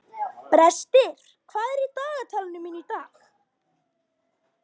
Brestir, hvað er í dagatalinu mínu í dag?